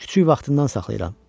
Kiçik vaxtından saxlayıram.